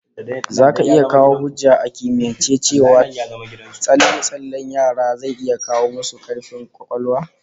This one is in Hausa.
Zaka iya kawo hujja a kimiyance cewa tsalle-tsallen yara zai 'kara musu kaifin kwakwalwa?